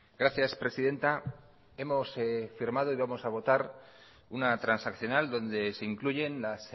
gracias presidenta hemos firmado y vamos a votar una transaccional donde se incluyen las